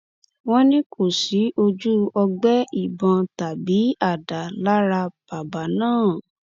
wọn ní kò sí ojú ọgbẹ ìbọn tàbí àdá lára bàbá náà